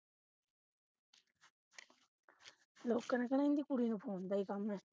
ਲੋਕਾਂ ਨੇ ਕਹਿਣਾ ਇਨ੍ਹਾਂ ਦੀ ਕੁੜੀ ਨੂੰ phone ਦਾ ਹੀ ਕੰਮ ਹੈ